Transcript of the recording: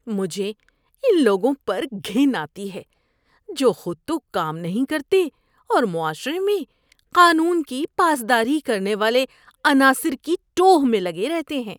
مجھے ان لوگوں پر گھن آتی ہے جو خود تو کام نہیں کرتے اور معاشرے میں قانون کی پاس داری کرنے والے عناصر کی ٹوہ میں لگے رہتے ہیں۔